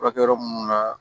Furakɛ yɔrɔ munnu na